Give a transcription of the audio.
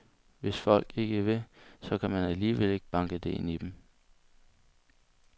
Hvis folk ikke vil, så kan man alligevel ikke banke det ind i dem.